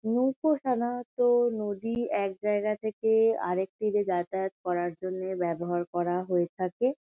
নৌকো সাধারণত নদীর এক জায়গা থেকে আরেক তীরে যাতায়ত করার জন্যে ব্যবহার করা হয়ে থাকে।